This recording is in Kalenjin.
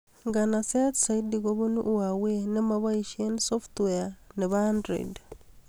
Nganseet zaidi kobun huawei ne mapoishee softweait ab android